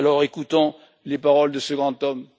Écoutons les paroles de ce grand homme.